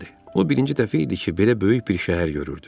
O birinci dəfə idi ki, belə böyük bir şəhər görürdü.